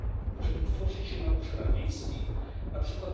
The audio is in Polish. Możemy tworzyć je na obszarach wiejskich, np.